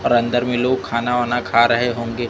और अंदर में लोग खाना वाना खा रहे होंगे।